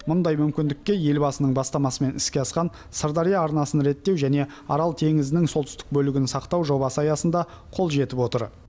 мұндай мүмкіндікке елбасының бастамасымен іске асқан сырдария арнасын реттеу және арал теңізінің солтүстік бөлігін сақтау жобасы аясында қол жетіп отыр